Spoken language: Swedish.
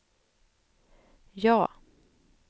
ja